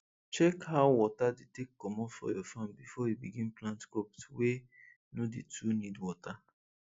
check how water dey take comot for your farm before you begin plant crops wey no dey too need water